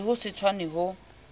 le ho se tshwane ho